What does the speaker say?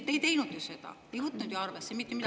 Te ei teinud ju seda, te ei võtnud ju arvesse mitte midagi.